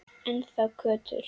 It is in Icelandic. Ennþá köttur.